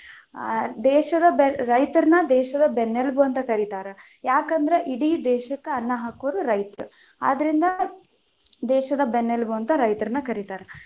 ಆ ದೇಶದ ರೈತರನ್ನ ದೇಶದ ಬೆನ್ನಲುಬು ಅಂತ ಕರೀತಾರ, ಯಾಕಂದ್ರ ಇಡೀ ದೇಶಕ್ಕ ಅನ್ನಾ ಹಾಕೊರ ರೈತರ, ಆದರಿಂದ ದೇಶದ ಬೆನ್ನೆಲುಬು ಅಂತ ರೈತರನ್ನ ಕರೀತಾರ.